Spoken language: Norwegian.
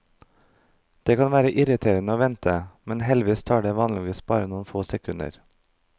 Det kan være irriterende å vente, men heldigvis tar det vanligvis bare noen få sekunder.